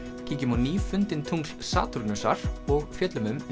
kíkjum á tungl Satúrnusar og fjöllum um